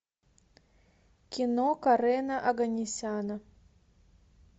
кино карена оганесяна